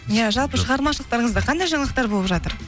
иә жалпы шығармашылықтарыңызда қандай жаңалықтар болып жатыр